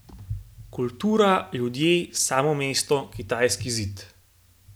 Kultura, ljudje, samo mesto, Kitajski zid.